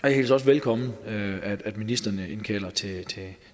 jeg hilser også velkommen at ministrene indkalder til